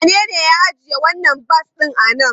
Wanene ya ajiye wannan bas ɗin a nan?